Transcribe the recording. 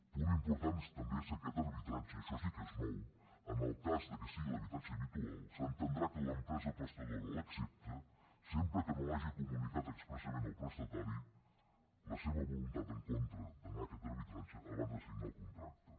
punt important és també que aquest arbitratge això sí que és nou en el cas que sigui l’habitatge habi tual s’entendrà que l’empresa prestadora l’accepta sempre que no hagi comunicat expressament al prestatari la seva voluntat en contra d’anar a aquest arbitratge abans de signar el contracte